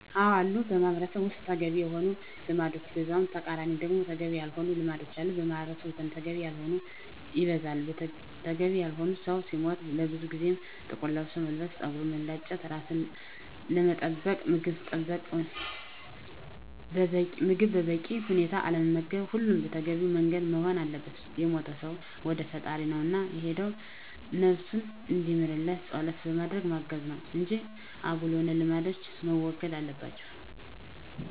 አዎ አሉ በማህበረሰቡ ውስጥ ተገቢ የሆኑ ልማዶች በዛው ተቃራኒ ደግሞ ተገቢ ያልሆኑ ልማዶች አሉ። በማህበረሰቡ ዘንድ ተገቢ ያልሆነው ይበዛል። ተገቢ ያልሆኑት ሰው ሲሞት ለብዙ ጊዜያት ጥቁር ለብስ መልበስ፣ ፀጉርን መላጨት፣ ራስን አለመጠበቅ፣ ምግብ በበቂ ሁኔታ አለመመገብ ሁሉም በተገቢው መንገድ መሆን አለበት። የሞተው ሰው ወደ ፈጣሪው ነው እና የሄደው ነብሱን እንዲምርለት ፀሎት በማድረግ ማገዝ ነው እንጂ አጉል የሆኑ ልማዶች መወገድ አለባቸው